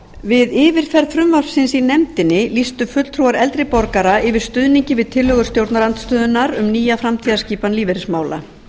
við yfirferð frumvarpsins í nefndinni lýstu fulltrúar eldri borgara yfir stuðningi við tillögur stjórnarandstöðunnar um nýja framtíðarskipan lífeyrismála